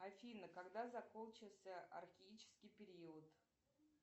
афина когда закончился археический период